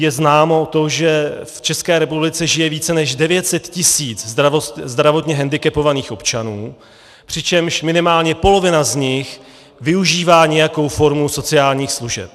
Je známo to, že v České republice žije více než 900 tis. zdravotně hendikepovaných občanů, přičemž minimálně polovina z nich využívá nějakou formu sociálních služeb.